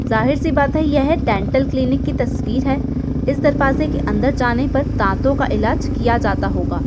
जाहिर सी बात है यह डेंटल क्लिनिक की तस्वीर है| इस दरवाजे के अंदर जाने पर दांतों का इलाज किया जाता होगा।